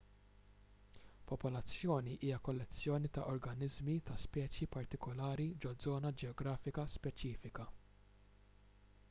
popolazzjoni hija kollezzjoni ta' organiżmi ta' speċi partikulari ġo żona ġeografika speċifika